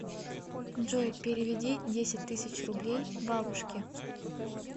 джой переведи десять тысяч рублей бабушке